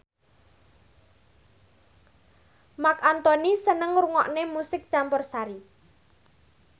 Marc Anthony seneng ngrungokne musik campursari